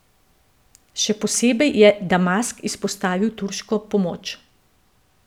Še posebej je Damask izpostavil turško pomoč.